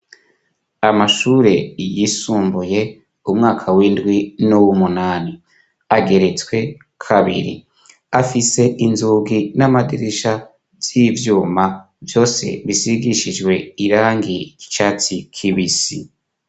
Amashure yisumbuye, umwaka w'indwi nuw'umunani. Ageretswe kabiri, afise inzugi n'amadirisha z'ivyuma, vyose bisigishijwe irangi ry'icatsi kibisi.